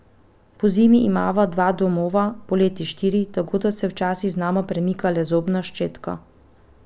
Pozimi imava dva domova, poleti štiri, tako da se včasih z nama premika le zobna ščetka.